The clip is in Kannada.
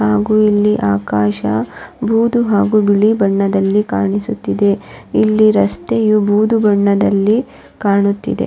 ಹಾಗು ಇಲ್ಲಿ ಆಕಾಶ ಬೂದು ಹಾಗು ಬಿಳಿ ಬಣ್ಣದಲ್ಲಿ ಕಾಣಿಸುತ್ತಿದೆ ಇಲ್ಲಿ ರಸ್ತೆಯು ಬೂದು ಬಣ್ಣದಲ್ಲಿ ಕಾಣುತ್ತಿದೆ.